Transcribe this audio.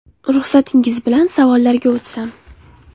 Ruxsatingiz bilan savollarga o ‘tsam.